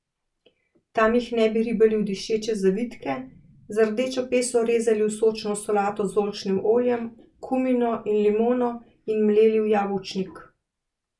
Tam jih ne bi ribali v dišeče zavitke, z rdečo peso rezali v sočno solato z oljčnim oljem, kumino in limono, in mleli v jabolčnik.